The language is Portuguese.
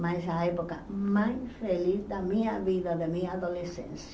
Mas a época mais feliz da minha vida, da minha adolescência.